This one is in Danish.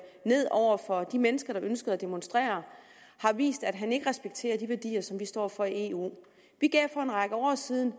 ned over for de mennesker der ønskede at demonstrere har vist at han ikke respekterer de værdier som vi står for i eu vi gav for en række år siden